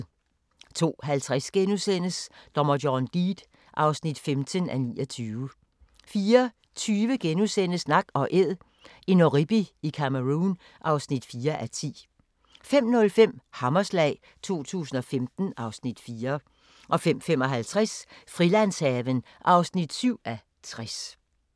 02:50: Dommer John Deed (15:29)* 04:20: Nak & Æd – en oribi i Cameroun (4:10)* 05:05: Hammerslag 2015 (Afs. 4) 05:55: Frilandshaven (7:60)